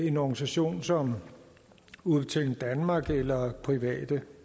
en organisation som udbetaling danmark eller private